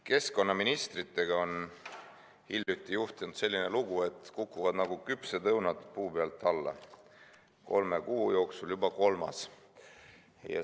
Keskkonnaministritega on hiljuti juhtunud selline lugu, et kukuvad nagu küpsed õunad puu pealt alla, kolme kuu jooksul juba kolmas.